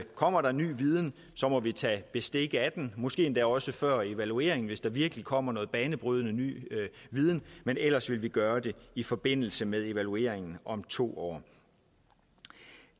kommer der ny viden så må vi tage bestik af den måske også før evalueringen hvis det virkelig kommer noget banebrydende ny viden men ellers vil vi gøre det i forbindelse med evalueringen om to år